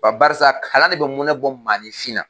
Barisa kalan ne bi munɛ bɔ maaninfinna.